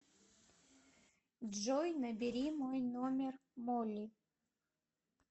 джой набери мой номер молли